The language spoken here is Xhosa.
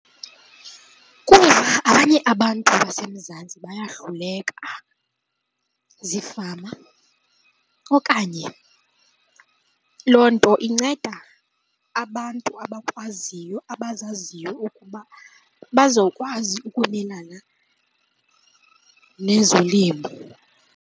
Kuba abanye abantu baseMzantsi bayahluleka ziifama okanye loo nto inceda abantu abakwaziyo, abazaziyo ukuba bazokwazi ukumelana nezolimo.